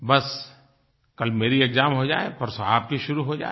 बस कल मेरी एक्साम हो जाये परसों आपकी शुरू हो जाये